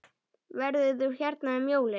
Verður þú hérna um jólin?